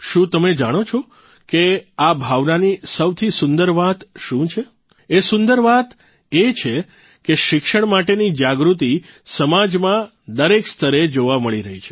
શું તમે જાણો છે કે આ ભાવનાની સૌથી સુંદર વાત શું છે એ સુંદર વાત એક છે કે શિક્ષણ માટેની જાગૃતિ સમાજમાં દરેક સ્તરે જોવા મળી રહી છે